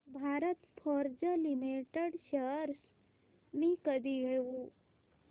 Bharat Forge limited shares मी कधी घेऊ